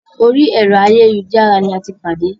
Orí ẹ̀rọ ayélujára ní a tí pàdé.